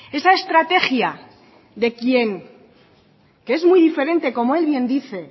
esa estrategia de quien que es muy diferente como él bien dice